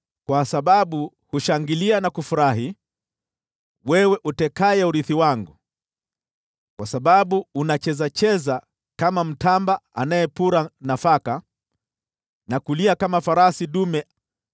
“Kwa sababu hushangilia na kufurahi, wewe utekaye urithi wangu, kwa sababu unachezacheza kama mtamba anayepura nafaka, na kulia kama farasi dume,